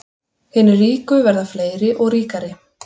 Hinir ríku verða fleiri og ríkari